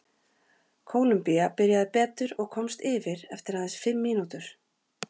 Kólumbía byrjaði betur og komst yfir eftir aðeins fimm mínútur.